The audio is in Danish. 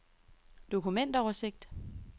dokumentoversigt